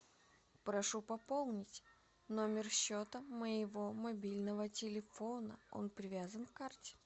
прошу пополнить номер счета моего мобильного телефона он привязан к карте